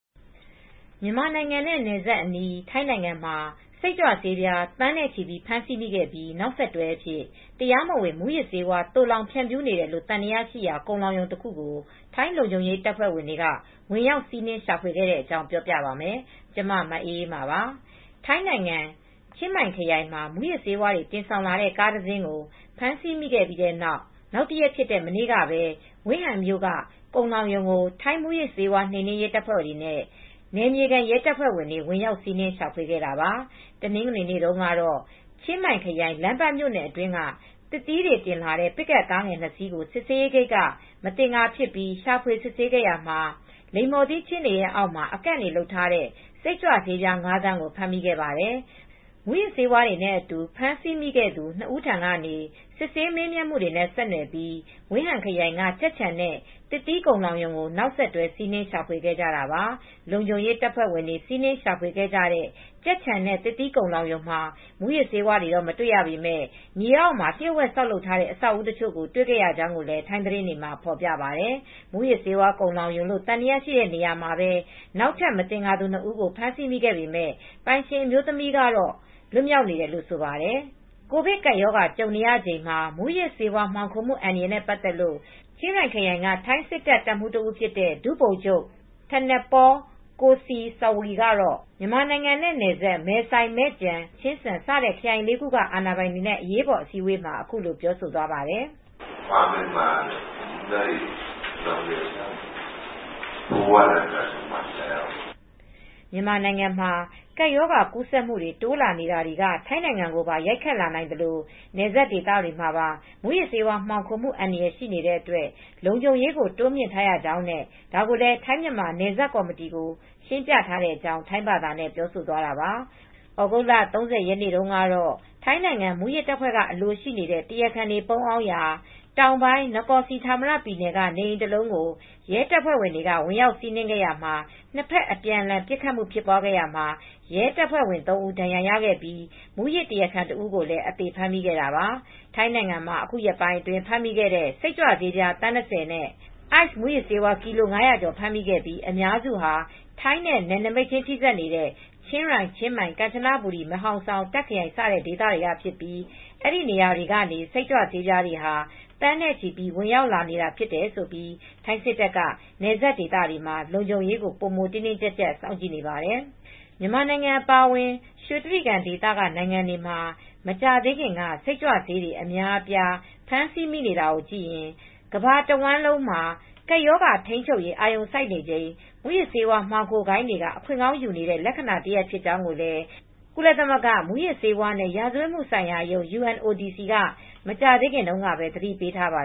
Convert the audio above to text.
မြန်မာနိုင်ငံနဲ့ နယ်စပ်အနီး ထိုင်းနိုင်ငံမှာ စိတ်ကြွဆေး သန်းနဲ့ချီ ဖမ်းဆီးမိခဲ့ပြီး နောက်ဆက်တွဲအဖြစ် တရားမဝင်မူးယစ်ဆေးဝါး သိုလှောင်ဖြန့်ဖြူးနေတယ်လို့ သံသယရှိရာ ကုန်လှောင်ရုံတခုကို ထိုင်းလုံခြုံရေး တပ်ဖွဲ့တွေ ဝင်ရောက်စီးနင်း ရှာဖွေခဲ့တဲ့အကြောင်း ပြောပြပါမယ်။ ဗွီအိုအေ မြန်မာပိုင်းသတင်းထောက် မအေးအေးမာက ထိုင်း မြန်မာ နယ်စပ်ကနေ သတင်းပေးပို့ထားပါတယ်။ ထိုင်းနိုင်ငံ၊ ချင်းမိုင်ခရိုင်မှာ မူးယစ်ဆေးဝါးတွေ တင်ဆောင်လာတဲ့ ကားတစ်စင်းကို ဖမ်းဆီးမိခဲ့ပြီးနောက်တရက်ဖြစ်တဲ့ မနေ့ကပဲ Wiang Haeng မြို့က ကုန်လှောင်ရုံကို ထိုင်း မူးယစ်ဆေးဝါး နှိမ်နင်းရေးတပ်ဖွဲ့တွေနဲ့ နယ်မြေခံ ရဲတပ်ဖွဲ့တွေ ဝင်ရောက်စီးနင်း ရှာဖွေခဲ့ကြတာပါ။ တနင်္ဂနွေနေ့တုန်းက ချင်းမိုင်ခရိုင် လမ်းပန်းမြို့နယ်အတွင်းက သစ်သီးတွေတင်လာတဲ့ ပစ်ကပ်ကားငယ် ၂ စီးကို စစ်ဆေးရေးဂိတ်က မသင်္ကာဖြစ်ပြီး ရှာဖွေ စစ်ဆေးရာမှာ လိမ္မော်သီးခြင်းတွေအောက်မှာ အကန့်တွေတွေလုပ်ထားတဲ့ စိတ်ကြွဆေးပြား ၅ သန်းကို ဖမ်းမိခဲ့ပါတယ်။ မူးယစ်ဆေးဝါးတွေနဲ့အတူ ဖမ်းဆီးမိခဲ့သူ ၂ ဦးထံကနေ စစ်ဆေးမေးမြန်းမှုတွေနဲ့ ဆက်နွယ်ပြီး ဝင်ဟန်ခရိုင်က ကြက်ခြံနဲ့ သစ်သီးကုန်လှောင်ရုံကို နောက်ဆက်တွဲ စီးနင်းရှာဖွေခဲ့ကြတာပါ။ လုံခြုံရေးတပ်ဖွဲ့တွေ စီးနင်းရှာဖွေခဲ့ကြတဲ့ ကြက်ခြံနဲ့ သစ်သီးကုန်လှောင်ရုံမှာ မူးယစ်ဆေးဝါးတွေ မတွေ့ရပေမဲ့ မြေအောက်မှာ လျို့ဝှက်ဆောက်လုပ်ထားတဲ့ အဆောက်အဦးတချို့ကို တွေ့ရကြောင်းလည်း ထိုင်းသတင်းတွေက ဖော်ပြပါတယ်။ မူးယစ်ဆေးဝါး ကုန်လှောင်ရုံလို့ သံသယရှိတဲ့နေရာမှာပဲ နောက်ထပ် မသင်္ကာသူ ၂ ဦးကို ဖမ်းဆီးခဲ့ပေမဲ့ ပိုင်ရှင်အမျိုးသမီးကတော့ လွတ်မြောက်နေတယ်လို့လည်း ဆိုပါတယ်။ ကိုဗစ်ကပ်ရောဂါ ကြုံနေရချိန်မှာ မူးယစ်ဆေးဝါး မှောင်ခိုမှု အန္တရာယ်နဲ့ပတ်သက်လို့ ချင်းရိုင်ခရိုင်က ထိုင်းစစ်တပ် တပ်မှူး တဦးဖြစ်တဲ့ ဒုဗိုလ်ချုပ် Thanatpol Kosai Sawee ကတော့ မြန်မာနိုင်ငံနဲ့ နယ်စပ် မဲဆိုင်၊ မဲ့ကျန်၊ မဲ့ဖာလွန်၊ ချင်းစန် စတဲ့ခရိုင်လေးခုက အာဏာပိုင်တွေနဲ့ အရေးပေါ်အစည်းအဝေးမှာ အခုလိုပြောဆိုသွားပါတယ်။ “ မြန်မာနိုင်ငံမှာ ကပ်ရောဂါကူးစက်မှုတွေ တိုးလာနေတာတွေက ထိုင်းနိုင်ငံကိုပါ ရိုက်ခတ်လာနိုင်သလို နယ်စပ်ဒေသတွေမှာ မူးယစ်ဆေးဝါး မှောင်ခိုမှု အန္တရာယ်ရှိနေတဲ့အတွက် လုံခြုံရေးကို တိုးမြှင့်ထားရကြောင်းနဲ့ ဒါကိုလည်း ထိုင်းမြန်မာနယ်စပ်ကော်မတီကို ရှင်းပြထားတဲ့အကြောင်း” ထိုင်းဘာသာနဲ့ ပြောဆိုသွားတာပါ။ သြဂုတ်လ ၃၀ရက်နေ့က ထိုင်းနိုင်ငံ မူးယစ်တပ်ဖွဲ့ကအလိုရှိနေတဲ့ မူးယစ်တရားခံ တွေ ပုန်းအောင်နေရာ တောင်ပိုင်း နကော်စီဌာမရ ပြည်နယ် Nakhon Si Thammarat ကနေအိမ်ကို ရဲတပ်ဖွဲ့က ဝင်ရောက်စီးနင်း ခဲ့ရာမှာ နှစ်ဘက်အပြန်အလှန် ပစ်ခတ်မှု ဖြစ်ပွားခဲ့ရာမှာ ရဲတပ်ဖွဲ့ဝင်သုံးဦးဒဏ်ရာရခဲ့ပြီး မူးယစ် တရားခံတစ်ဦးကိုလည်း အသေဖမ်းမိခဲ့တာပါ။ ထိုင်းနိုင်ငံမှာ ယခုရက်ပိုင်း ဖမ်းမိတဲ့ စိတ်ကြွဆေး သန်း၂၀ နဲ့ အိုက်စ်မူးယစ်ဆေးကီလို ၅၀၀ကျော် ဖမ်းမိခဲ့ပြီး အများစုဟာ ထိုင်းနဲ့နယ်နိမိတ်ခြင်းထိစပ်နေတဲ့ ချင်းရိုင်-ချင်းမိုင်- ကမ်ချနဘူရီ မဲဟောင်ဆောင် -တာ့ခ် ခရိုင် စတဲ့ ဒေသတွေကဖြစ်ပြီး အဲဒီနေရာတွေက နေ စိတ်ကြွဆေးတွေဟာ သန်းနဲ့ချီ ဝင်ရောက်လာတာဖြစ်လို့ ထိုင်း စစ်တပ်က နယ်စပ်ဒေသတွေမှာ ပိုမိုတင်းတင်းကျပ်ကျပ် စောင့်ကြည့်နေပါတယ်။ မြန်မာနိုင်ငံအပါအဝင် ရွှေတြိဂံဒေသနိုင်ငံတွေမှာ မကြာသေးခင်က စိတ်ကြွဆေးတွေ အများအပြား ဖမ်းဆီးမိနေတာကိုကြည့်ရင် ကမ္ဘာတဝှမ်းလုံးမှာ ကပ်ရောဂါထိန်းချုပ်ရေး အာရုံစိုက်နေချိန် မူးယစ်ဆေးမှောင်ခိုဂိုဏ်းတွေက အခွင့်ကောင်းယူနေတဲ့ လက္ခဏာတရပ် ဖြစ်ကြောင်းလည်း ကုလသမဂ္ဂ မူးယစ်ဆေးဝါးနဲ့ ရာဇဝတ်မှုဆိုင်ရာရုံး က မကြာသေးခင်တုန်းကပဲ သတိပေးထားပါ